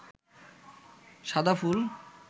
সাদা ফুল